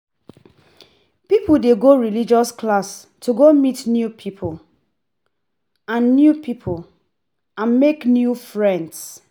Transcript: Pipo de go religious class to go meet new pipo and new pipo and make new friends